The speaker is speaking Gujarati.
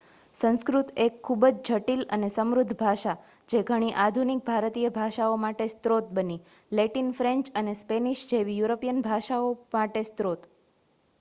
સંસ્કૃત એક ખૂબ જ જટિલ અને સમૃદ્ધ ભાષા, જે ઘણી આધુનિક ભારતીય ભાષાઓમાટે સ્ત્રોત બની, લેટિન ફ્રેન્ચ અને સ્પેનિશ જેવી યુરોપિયન ભાષાઓ માટે સ્રોત